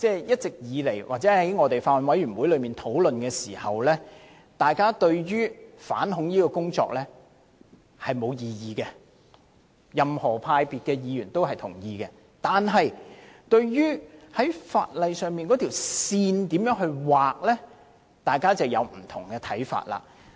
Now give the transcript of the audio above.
一直以來，以及我們在法案委員會討論時，對於反恐工作當然沒有異議，不論任何派別的議員也會同意必須進行反恐工作，但對於在法例上如何劃線，大家便有不同看法。